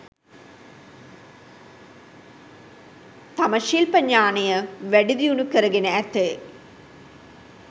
තම ශිල්ප ඥානය, වැඩිදියුණු කරගෙන ඇති